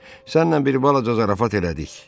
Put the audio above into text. Səninlə bir balaca zarafat elədik.